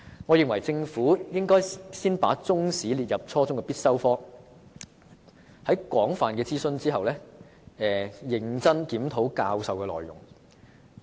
我認為政府應先把中史列為初中必修科，並在廣泛諮詢後，認真檢討教學內容。